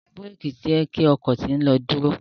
Awọn biréki jẹ ki ọkọ to ń lo duro.